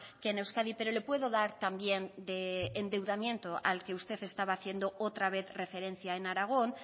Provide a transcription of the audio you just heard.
que en euskadi pero le puedo dar también de endeudamiento al que usted estaba haciendo otra vez referencia en aragón